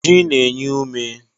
Ji na-enye ume.